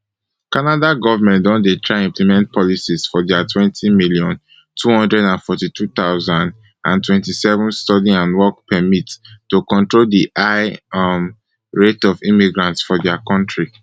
canada goment don dey try implement policies for diatwenty million, two hundred and forty-two thousand and twenty-seven study and work permitto control di high um rate of immigrants for dia kontri